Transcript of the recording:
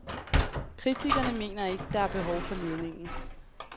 Kritikerne mener ikke, der er behov for ledningen.